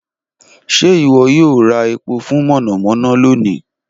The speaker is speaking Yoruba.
Ṣe iwọ yoo ra epo fun monomono loni?